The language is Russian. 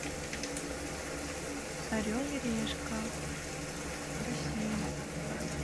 орел и решка россия